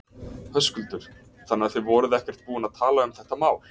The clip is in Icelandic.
Höskuldur: Þannig að þið voruð ekkert búin að tala um þetta mál?